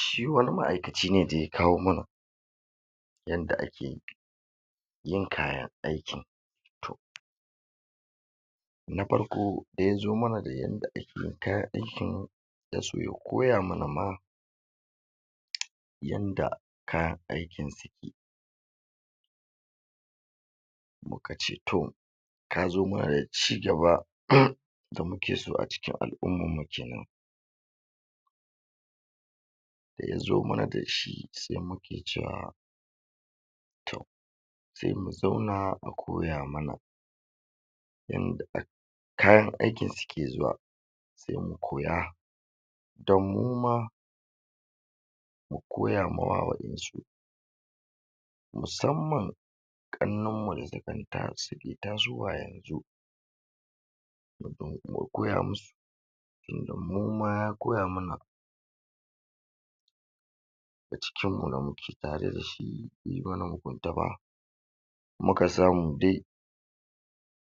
shi wani ma'aikaci ne da ya kawo mana yanda ake yin kayan aikin to na farko da ya zo mana da yanda ake yin kayan aikin da su ya koya mana ma yanda kayan aikin suke muka ce to ka zo mana da cigaba da muke so a cikin al'ummanmu kenan da ya zo mana da shi se muke cewa to se mu zauna a koya mana yanda um kayan aikin suke zuwa se mu koya don mu ma mu koya ma wa waƴan su musamman ƙannan mu da um suke tasowa yanzu um mu koya mu su tunda mu ma ya koya mana a cikin mu da muke tare da shi be yi mana mugunta ba muka samu dai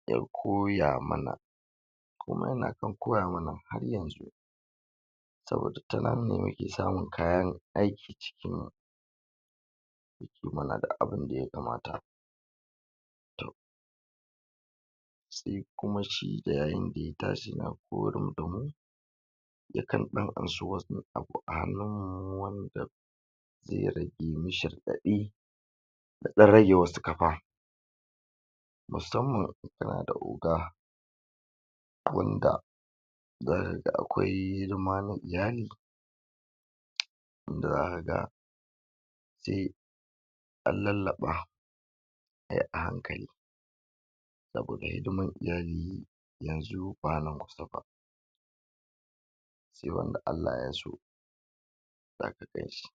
ya koya mana kuma yana kan koya mana har yanzu saboda ta nan ne muke samun kayan aiki cikin mu da duk abinda ya kamata se kuma shi da yayin da ya tashi na da mu ya kan ɗan ansa wani abu a hannun mu wanda ze rage mishi raɗaɗi da ɗan rage wasu kafa musamman in kana da oga wanda zaka ga akwai hidima na iyali wanda zaka ga se an lallaɓa se a hankali da gurin hidiman iyali yanzu ba nan kusa ba se wanda Allah ya so zaka ganshi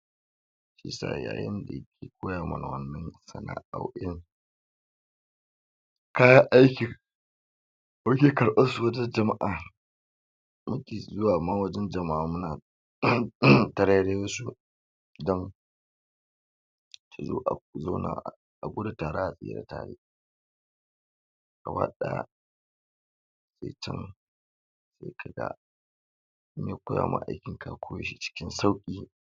shiyasa yayin da yake koya mana wannan sana'o'in kayan aikin muke karɓar su wajen jama'a mu ke zuwa ma wajen jama'a muna tarairayo su dan su zo a zauna um a gudu tare a tsira tare gaba ɗaya se can se ka ga me koya ma aikin ka koyo shi cikin sauƙi